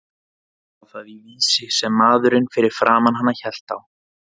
Hún sá það í Vísi sem maðurinn fyrir framan hana hélt á.